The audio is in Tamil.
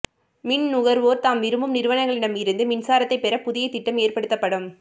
மின்நுகர்வோர் தாம் விரும்பும் நிறுவனங்களிடம் இருந்தும் மின்சாரத்தை பெற புதிய திட்டம் ஏற்படுத்தப்படும்